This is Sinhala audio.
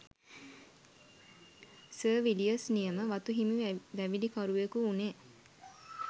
සර් විලියර්ස් නියම වතු හිමි වැවිලිකරුවකු වුනේ.